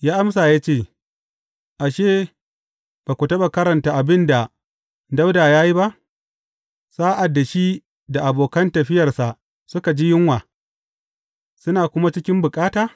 Ya amsa ya ce, Ashe, ba ku taɓa karanta abin da Dawuda ya yi ba, sa’ad da shi da abokan tafiyarsa suka ji yunwa, suna kuma cikin bukata?